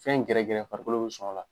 Fɛn gɛrɛgɛrɛ farikolo bɛ sɔn a la.